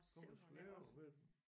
Kommer slæbende med dem